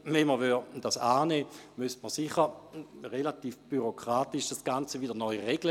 Nähme man diesen Punkt an, müsste das Ganze bürokratisch neu geregelt werden.